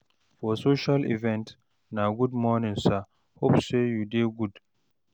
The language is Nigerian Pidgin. for social event na good morning sir, hope say you dey do good?